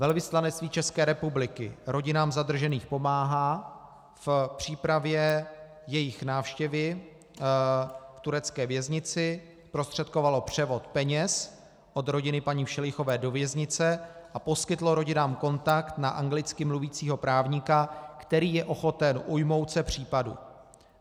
Velvyslanectví České republiky rodinám zadržených pomáhá v přípravě jejich návštěvy v turecké věznici, zprostředkovalo převod peněz od rodiny paní Všelichové do věznice a poskytlo rodinám kontakt na anglicky mluvícího právníka, který je ochoten ujmout se případu.